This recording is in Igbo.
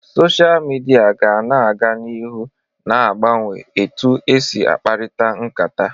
Sochaa midia ga na aga n'ihu na agbanwe etu esi akparita nkata.